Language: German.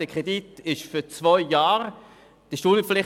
Der Kredit ist für zwei Jahre veranschlagt.